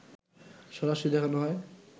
সরাসরি দেখানো হয়